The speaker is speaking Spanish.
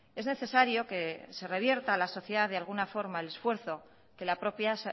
es necesario que se revierta a la sociedad de alguna forma el esfuerzo que la propia